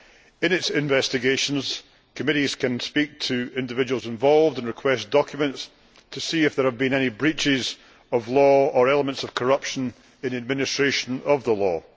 In their investigations, committees can speak to individuals involved and request documents to see if there have been any breaches of law or elements of corruption in the administration of the law.